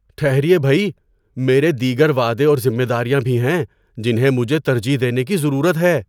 ٹھہریئے بھئی، میرے دیگر وعدے اور ذمہ داریاں بھی ہیں جنہیں مجھے ترجیح دینے کی ضرورت ہے۔